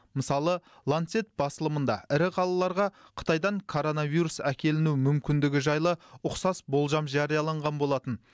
мысалы лансет басылымында ірі қалаларға қытайдан коронавирус әкеліну мүмкіндігі жайлы ұқсас болжам жарияланған болатын